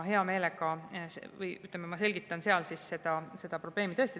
Ma selgitan seal seda probleemi.